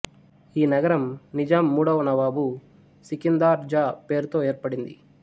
ఈ నగరం నిజాం మూడవ నవాబు సికిందార్ జా పేరుతో ఏర్పడింది